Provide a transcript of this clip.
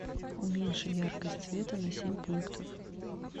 уменьши яркость света на семь пунктов